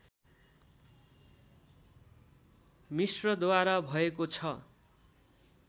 मिश्रद्वारा भएको छ